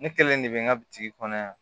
Ne kelen de bɛ n ka bitigi kɔnɔ yan